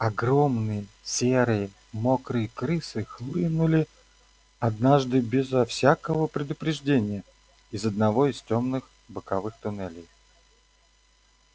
огромные серые мокрые крысы хлынули однажды безо всякого предупреждения из одного из тёмных боковых туннелей